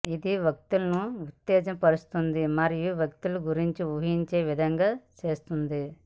ఇది వ్యక్తులను ఉత్తేజపరుస్తుంది మరియు వ్యక్తుల గురించి ఊహించే విధంగా చేస్తుంది